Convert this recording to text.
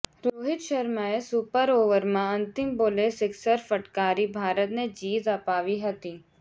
રોહિત શર્માએ સુપર ઓવરમાં અંતિમ બોલે સિક્સર ફટકારી ભારતને જીત અપાવી હતી